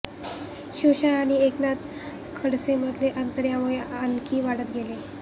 शिवसेना आणि एकनाथ खडसेंमधले अंतर यामुळे आणखी वाढत गेले